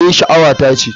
Eh, sha'awata ce.